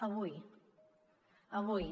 avui avui